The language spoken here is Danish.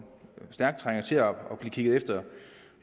stærkt trænger til at blive kigget efter